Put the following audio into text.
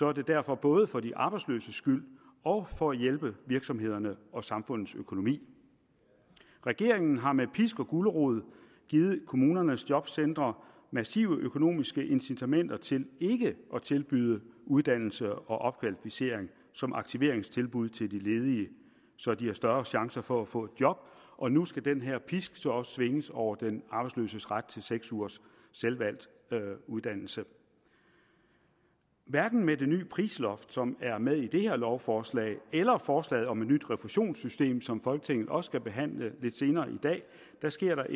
er det derfor både for de arbejdsløses skyld og for at hjælpe virksomhederne og samfundets økonomi regeringen har med pisk og gulerod givet kommunernes jobcentre massive økonomiske incitamenter til ikke at tilbyde uddannelse og opkvalificering som aktiveringstilbud til de ledige så de har større chance for at få et job og nu skal den her pisk så også svinges over den arbejdsløses ret til seks ugers selvvalgt uddannelse hverken med det nye prisloft som er med i det her lovforslag eller forslaget om et nyt refusionssystem som folketinget også skal behandle lidt senere i dag sker der